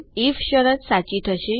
if શરત સાચી થશે